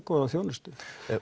góða þjónustu